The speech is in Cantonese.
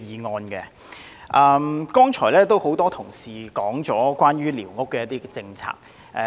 多位議員剛才提及關於寮屋的政策。